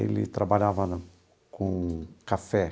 Ele trabalhava com café.